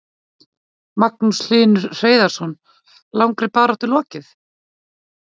Magnús Hlynur Hreiðarsson: Langri baráttu lokið?